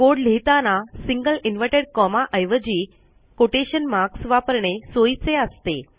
code लिहिताना single inverted comma ऐवजी quotation marks वापरणे सोयीचे असते